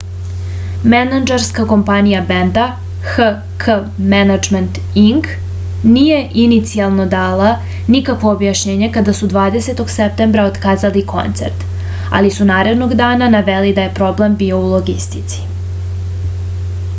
менаџерска компанија бенда hk management inc није иницијално дала никакво објашњење када су 20.септембра отказали концерт али су наредног дана навели да је проблем био у логистици